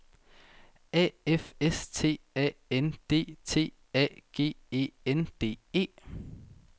A F S T A N D T A G E N D E